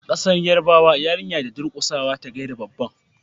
a kasar yarbawa yarinya da durkusawa ta gaida babban